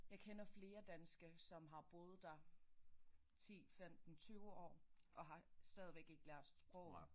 Jeg kender flere danske som har boet der 10 15 20 år og har stadigvæk ikke lært sproget